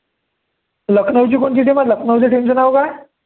लखनऊची कोणची team आहे, लखनऊच्या team चं नाव काय